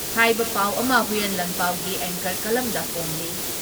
ꯍꯥꯏꯕ ꯄꯥꯎ ꯑꯃ ꯍꯨꯏꯌꯦꯟ ꯂꯥꯟꯄꯥꯎꯒꯤ ꯑꯦꯡꯀꯔ ꯀꯂꯝꯗ ꯐꯣꯡꯂꯤ ꯫